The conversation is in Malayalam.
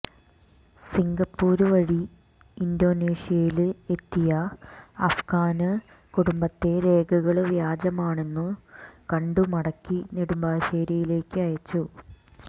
സിംഗപ്പൂര് വഴി ഇന്തോനേഷ്യയില് എത്തിയ അഫ്ഗാന് കുടുംബത്തെ രേഖകള് വ്യാജമാണെന്നു കണ്ടു മടക്കി നെടുമ്പാശേരിയിലേക്ക് അയച്ചു